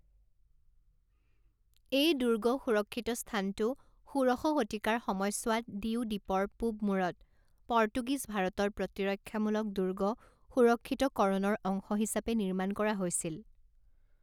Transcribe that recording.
এই দুৰ্গ সুৰক্ষিত স্থানটো ষোড়শ শতিকাৰ সময়ছোৱাত দিউ দ্বীপৰ পূব মূৰত পৰ্তুগীজ ভাৰতৰ প্ৰতিৰক্ষামূলক দুৰ্গ সুৰক্ষিতকৰণৰ অংশ হিচাপে নিৰ্মাণ কৰা হৈছিল।